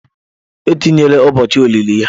Etinyela ụbọochị olili ya?